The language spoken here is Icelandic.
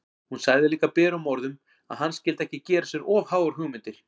Hún sagði líka berum orðum að hann skyldi ekki gera sér of háar hugmyndir!